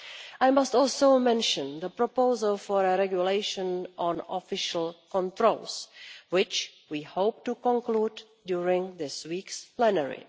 I must also mention the proposal for a regulation on official controls, which we hope to conclude during this week's plenary.